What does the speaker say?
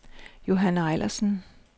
Johann Ejlersen